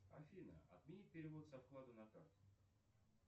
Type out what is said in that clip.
афина отмени перевод со вклада на карту